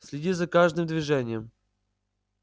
следи за каждым движением